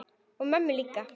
Og mömmu líka.